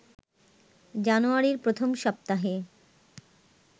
জানুয়ারির প্রথম সপ্তাহে